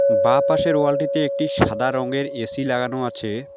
বাঁ পাশের ওয়ালটিতে একটি সাদা রঙের এ_সি লাগানো আছে।